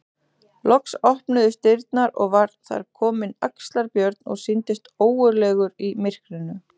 Loks opnuðust dyrnar og var þar kominn Axlar-Björn og sýndist ógurlegur í myrkrinu.